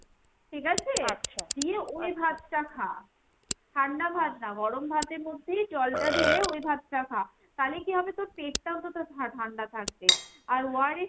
ঠিক আছে? দিয়ে ওই ভাত টা খা। ঠান্ডা ভাত না ভাতের মধ্যেই জলটা ঢেলে ওই ভাত টা খা। তালে কি হবে তোর পেট টাও তো~ তোর ঠা~ ঠান্ডা থাকবে। আর ORS